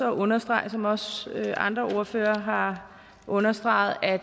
understrege som også andre ordførere har understreget at